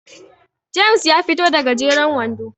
James ya fito da gajeren wando